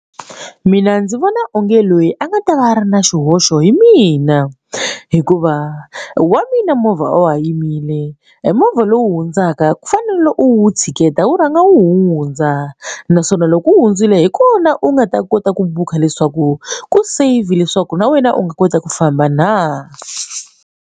Mina ndzi vona onge loyi a nga ta va a ri na xihoxo hi mina hikuva wa mina movha wa yimile e movha lowu hundzaka ku fanele u wu tshiketa wu rhanga wu hundza naswona loko wu hundzile hi kona u nga ta kota ku bukha leswaku ku save leswaku na wena u nga kota ku famba na.